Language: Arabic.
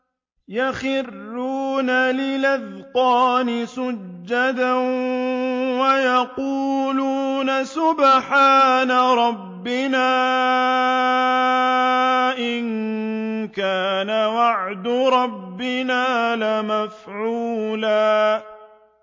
وَيَقُولُونَ سُبْحَانَ رَبِّنَا إِن كَانَ وَعْدُ رَبِّنَا لَمَفْعُولًا